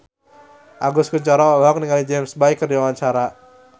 Agus Kuncoro olohok ningali James Bay keur diwawancara